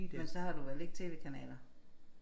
Men så har du vel ikke tv-kanaler?